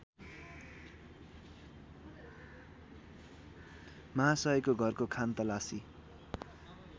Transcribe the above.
माहासयको घरको खानतलासी